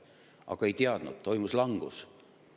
Aga ei teadnud, toimus langus.